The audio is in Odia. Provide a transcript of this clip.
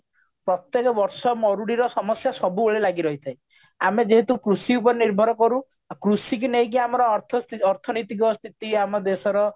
ପ୍ରତ୍ୟକ ବର୍ଷ ମରୁଡ଼ିର ସମସ୍ଯା ସବୁବେଳେ ଲାଗି ରହିଥାଏ ଆମେ ଯେହେତୁ କୃଷି ଉପରେ ନିର୍ଭର କରୁ ଆଉ କୃଷି କୁ ନେଇକି ଆମର ଅର୍ଥ ଅର୍ଥନୈତିକ ଆମ ଦେଶର